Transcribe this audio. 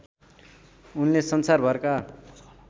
उनले संसारभरका